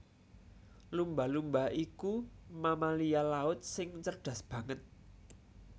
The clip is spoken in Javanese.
Lumba lumba iku mamalia laut sing cerdas banget